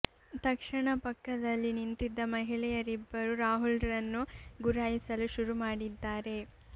ತಕ್ಷಣ ಪಕ್ಕದಲ್ಲಿ ನಿಂತಿದ್ದ ಮಹಿಳೆಯರಿಬ್ಬರು ರಾಹುಲ್ ರನ್ನು ಗುರಾಯಿಸಲು ಶುರು ಮಾಡಿದ್ದಾರೆ